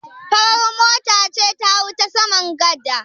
Farar mota ce ta hau ta saman gada.